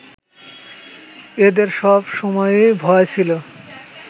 এদের সব সময়েই ভয় ছিল